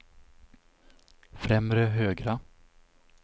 främre högra